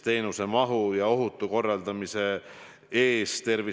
Keit Pentus-Rosimannus, täpsustav küsimus, palun!